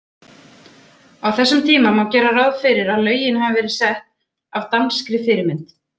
Á þessum tíma má gera ráð fyrir að lögin hafi verið sett af danskri fyrirmynd.